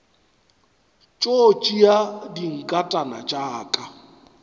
tšo tšea dinkatana tša ka